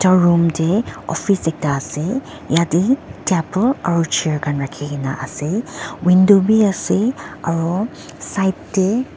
room tae office ekta ase yatae table aro chair rakhikaena ase window bi ase aro side tae--